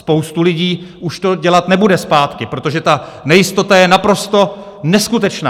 Spousta lidí už to dělat nebude zpátky, protože ta nejistota je naprosto neskutečná.